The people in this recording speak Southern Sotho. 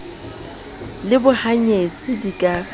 le bohany etsi di ka